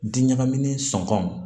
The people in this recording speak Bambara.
Di ɲagaminen sɔn